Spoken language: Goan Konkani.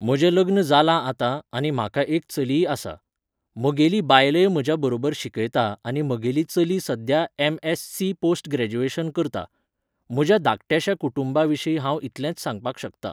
म्हजें लग्न जालां आतां आनी म्हाका एक चलीय आसा. म्हगेली बायलय म्हज्या बरोबर शिकयता आनी म्हगेली चली सद्द्या M S C post graduation करता. म्हज्या धाकट्याश्या कुटुंबा विशीं हांव इतलेंच सांगपाक शकतां.